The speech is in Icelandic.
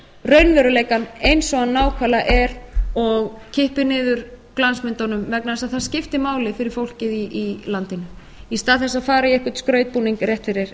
raunveruleikann eins og að nákvæmlega er og kippi niður glansmyndunum vegna þess að það skiptir máli fyrir fólkið í landinu í stað þess að fara í einhvern skrautbúning